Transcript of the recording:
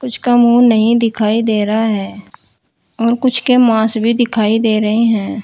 कुछ का मुंह नहीं दिखाई दे रहा है और कुछ के मास्क भी दिखाई दे रहे हैं।